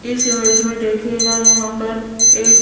इस इमेज में देखिएगा यहां पर एक--